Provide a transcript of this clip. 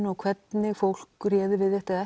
og hvernig fólk réði við þetta eða